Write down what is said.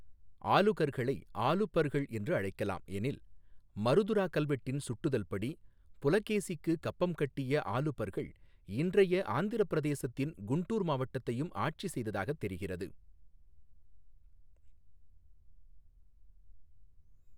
ஆலுகர்களை ஆலுபர்கள் என்று அழைக்கலாம் எனில், மருதுரா கல்வெட்டின் சுட்டுதல் படி புலகேசிக்குக் கப்பம் கட்டிய ஆலுபர்கள் இன்றைய ஆந்திரப் பிரதேசத்தின் குண்டூர் மாவட்டத்தையும் ஆட்சி செய்ததாகத் தெரிகிறது.